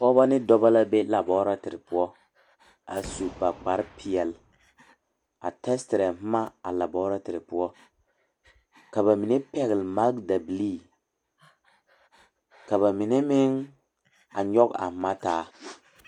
Pogeba ne doɔba la be laborete poʊ. A su ba kpar piɛle a testere boma a laborete poʊ. Ka ba mene pɛgle makdabilii . Ka ba mene meŋ a yoɔg a mantaa